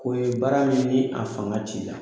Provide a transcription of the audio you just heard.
K'o ye baara min ni a fanga t'i la